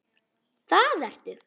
Það ertu.